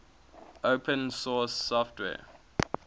open source software